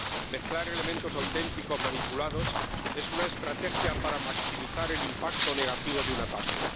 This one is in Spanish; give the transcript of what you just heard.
Mezclar elementos auténticos manipulados es una estrategia para maximizar el impacto negativo de un ataque.